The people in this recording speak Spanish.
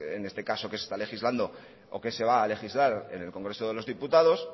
en este caso que se está legislando o qué se va a legislar en el congreso de los diputados